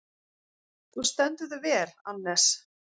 Þú stendur þig vel, Annes!